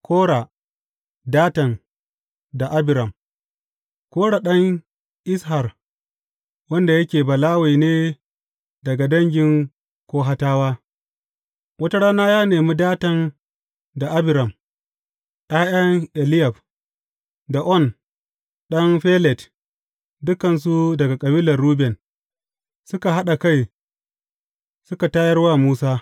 Kora, Datan da Abiram Kora ɗan Izhar, wanda yake Balawe ne daga dangin Kohatawa, wata rana ya nemi Datan da Abiram ’ya’yan Eliyab, da On ɗan Felet dukansu daga kabilar Ruben, suka haɗa kai suka tayar wa Musa.